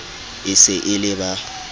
e se e le ba